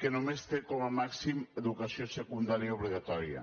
que només té com a màxim educació secundària obligatòria